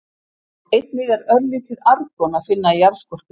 Einnig er örlítið argon að finna í jarðskorpunni.